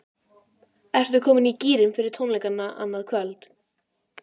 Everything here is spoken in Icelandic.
Ertu komin í gírinn fyrir tónleikana annað kvöld?